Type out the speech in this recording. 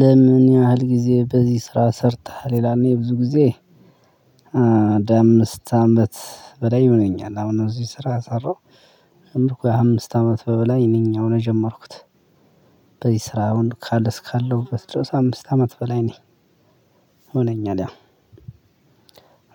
ለምን ያህል ግዜ በዚ ስራ ሰርተሃል? ይላል፣ እኔ ብዙ ግዜ አንድ አምስት አመት በላይ ይሆነኛል። አሁን በዚ ስራ የሰራሁት ወይ አምስት አመት በላይ ያው እኔ ከጀመርኩት። በዚህ ስራ አሁን ካለ እስካለሁበት ድረስ አምስት አመት በላይ ነኝ፤ ሆነኛል ያ